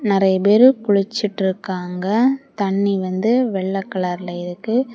நிறைய பேரு குளிச்சிட்டு இருக்காங்க தண்ணி வந்து வெள்ளை கலர்ல தெரியுது.